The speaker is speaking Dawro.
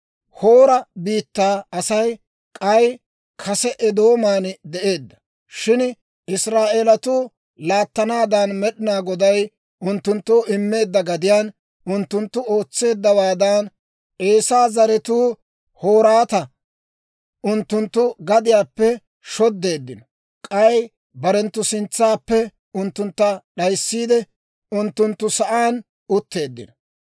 Hoora biittaa Asay k'ay kase Eedooman de'eedda; shin Israa'eelatuu laattanaadan Med'inaa Goday unttunttoo immeedda gadiyaan unttunttu ootseeddawaadan, Eesaa zaratuu Hoorata unttunttu gadiyaappe shoddeeddino; k'ay barenttu sintsaappe unttuntta d'ayssiide, unttunttu sa'aan utteeddino.)